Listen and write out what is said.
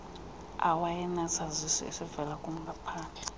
owayenesazisi esivela kumaphandle